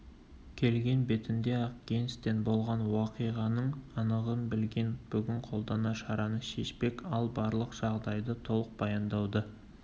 келген бетінде-ақ генстен болған уақиғаның анығын білген бүгін қолданар шараны шешпек ал барлық жағдайды толық баяндауды